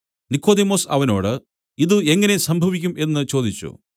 നിക്കോദെമോസ് അവനോട് ഇതു എങ്ങനെ സംഭവിക്കും എന്നു ചോദിച്ചു